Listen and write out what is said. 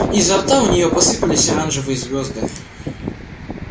изо рта у нее посыпались оранжевые звезды